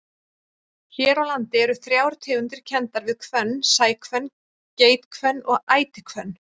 Hér á landi eru þrjár tegundir kenndar við hvönn, sæhvönn, geithvönn og ætihvönn.